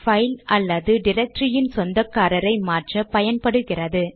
file அல்லது டிரக்டரியின் சொந்தக்காரரை மாற்ற பயன்படுகிறது